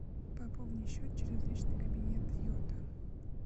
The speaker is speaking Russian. пополни счет через личный кабинет йота